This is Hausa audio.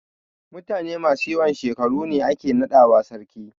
Mutane masu yawan shekaru ne ake naɗawa sarki.